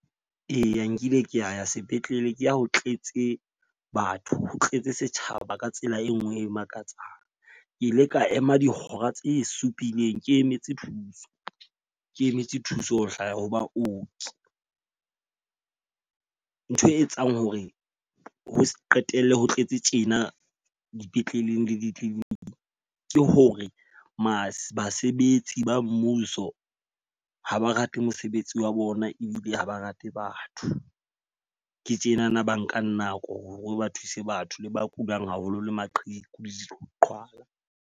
Eya nkile ka ya sepetlele ke ha ho tletse batho, ho tletse setjhaba ka tsela e nngwe e makatsang. Ke ile ka ema dihora tse supileng, ke emetse thuso. Ke emetse thuso ho hlaya ho baoki. Ntho e etsang hore ho qetella ho tletse tjena dipetleleng le di-clinic, ke hore basebetsi ba mmuso ha ba rate mosebetsi wa bona ebile ha ba rate batho. Ke tjenana ba nkang nako hore ba thuse batho le ba kulang haholo le maqheku le diqhwala.